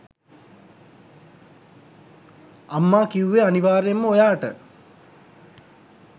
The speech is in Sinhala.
අම්මා කිව්වේ අනිවාර්යෙන්ම ඔයාට